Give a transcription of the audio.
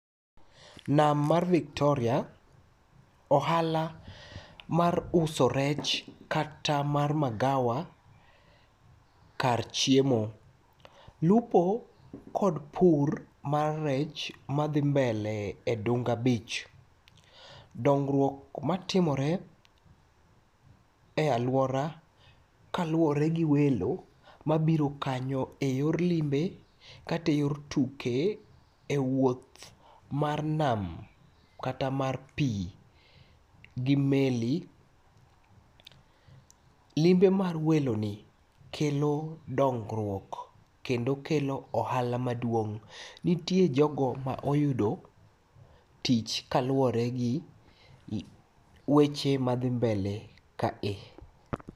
Nam mar Victoria ohala mar uso rech kata mar magawa kar chiemo. Lupo kod pur mar rech madhi mbele e Dunda beach. Dongruok matimore e aluora kaluore gi welo mabiro kanyo e yor limbe kata e yor tuke,e wuoth mar nam kata mar pii gi [meli].Limbe mar weloni kelo dongruok kendo okelo ohala maduong'.Nitie jogo ma oyudo tich kaluore gi weche madhi mbele kae.